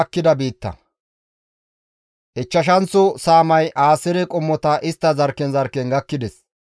Ichchashanththo saamay Aaseere qommota istta zarkken zarkken gakkides.